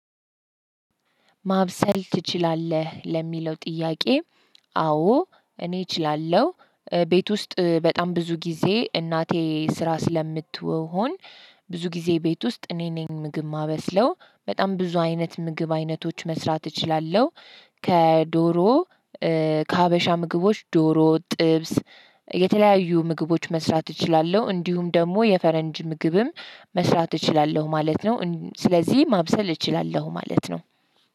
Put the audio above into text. ማብሰል ትችላለህ ለሚለው ጥያቄ? አዎ፣ እኔ እችላለሁ፤ ቤት ውስጥ ባጣም ብዙ ጌዜ እናቴ ስራ ስለምትሆን። ብዙ ጊዜ ቤት ውስጥ እኔ ነኝ ምግብ ማበስለው፤ በጣም ብዙ አይነት ምግብ አይነቶች መስራት እችላለሁ፤ ከዶሮ፤ ከሀበሻ ምግቦች፤ ዶሮ፣ ጥብስ፣ የተለያዩ ምግቦች መስራት እችላለሁ፤ እንዲሁም ደግሞ፣ የፈረንጅ ምግብም መስራት እችላለሁ ማለት ነው፤ ስለዚህ፣ ማብሰል እችላለሁ ማለት ነው፤